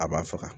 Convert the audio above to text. A b'a faga